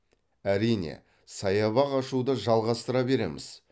әрине саябақ ашуды жалғастыра береміз